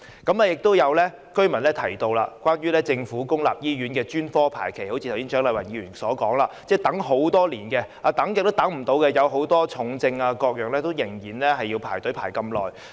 亦有居民提到政府公立醫院的專科排期，正如蔣麗芸議員剛才所說，要等候很久，很多重症病人要輪候服務多年。